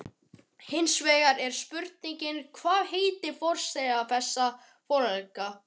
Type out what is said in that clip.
Hinsvegar er spurningin, hvað heitar forsetar þessara félaga?